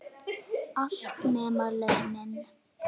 Allt, nema launin.